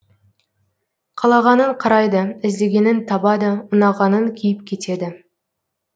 қалағанын қарайды іздегенін табады ұнағанын киіп кетеді